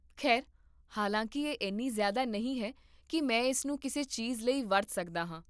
ਖੈਰ, ਹਾਲਾਂਕਿ ਇਹ ਐਨੀ ਜ਼ਿਆਦਾ ਨਹੀਂ ਹੈ ਕੀ ਮੈਂ ਇਸਨੂੰ ਕਿਸੇ ਚੀਜ਼ ਲਈ ਵਰਤ ਸਕਦਾ ਹਾਂ